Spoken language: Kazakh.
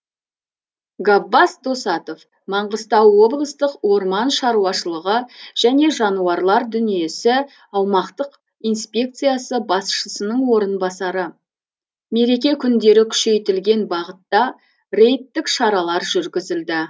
габбас досатов маңғыстау облыстық орман шаруашылығы және жануарлар дүниесі аумақтық инспекциясы басшысының орынбасары мереке күндері күшейтілген бағытта рейдтік шаралар жүргізілді